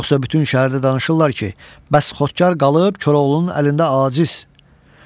Yoxsa bütün şəhərdə danışırlar ki, bəs Xodkar qalıb Koroğlunun əlində aciz.